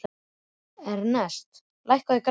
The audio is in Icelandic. Ernest, lækkaðu í græjunum.